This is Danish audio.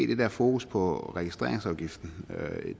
det der fokus på registreringsafgiften